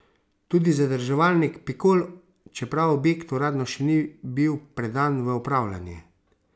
Tudi zadrževalnik Pikol, čeprav objekt uradno še ni bil predan v upravljanje.